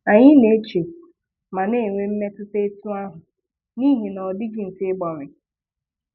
Anyị na-eche ma na-enwe mmetụta etu ahụ n'ihi na ọ dịghị mfe ịgbanwe.